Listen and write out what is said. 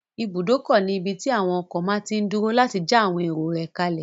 Ibùdókọ̀ ní ibí tí àwon ọkọ̀ máa tí n dúró láti já àwọn èrò rẹ̀ kálẹ̀